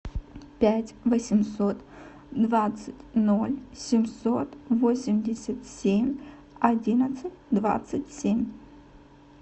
пять восемьсот двадцать ноль семьсот восемьдесят семь одиннадцать двадцать семь